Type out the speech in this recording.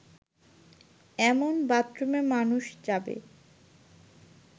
এমন বাথরুমে মানুষ যাবে